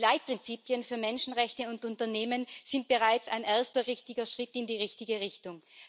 Die Leitprinzipien für Menschenrechte und Unternehmen sind bereits ein erster richtiger Schritt in die richtige Richtung.